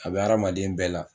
A bɛ hadamaden bɛɛ la